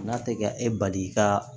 N'a tɛ ka e bali ka